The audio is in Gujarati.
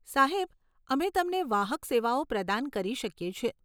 સાહેબ, અમે તમને વાહક સેવાઓ પ્રદાન કરી શકીએ છે.